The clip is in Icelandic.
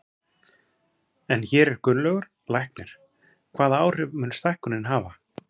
En hér er Gunnlaugur, læknir, hvaða áhrif mun stækkunin hafa?